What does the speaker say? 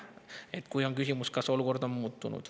küsimusele, kas olukord on muutunud.